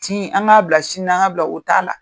Tin an k'a bila sini na an ka bila o t'a la.